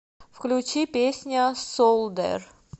включи песня солдэр